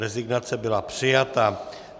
Rezignace byla přijata.